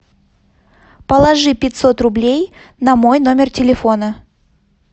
положи пятьсот рублей на мой номер телефона